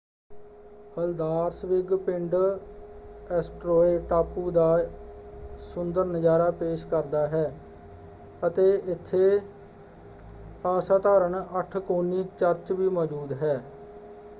Haldarsvik ਪਿੰਡ Eysturoy ਟਾਪੂ ਦਾ ਸੁੰਦਰ ਨਜ਼ਾਰਾ ਪੇਸ਼ ਕਰਦਾ ਹੈ ਅਤੇ ਇੱਥੇ ਅਸਾਧਾਰਨ ਅੱਠਕੋਣੀ ਚਰਚ ਵੀ ਮੌਜੂਦ ਹੈ।